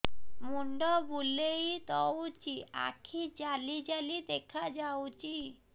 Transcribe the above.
ମୁଣ୍ଡ ବୁଲେଇ ଦଉଚି ଆଖି ଜାଲି ଜାଲି ଦେଖା ଯାଉଚି